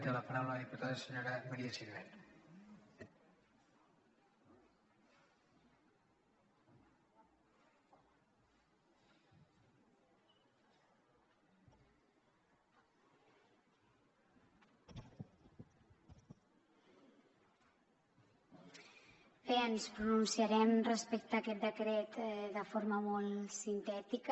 bé ens pronunciarem respecte a aquest decret de forma molt sintètica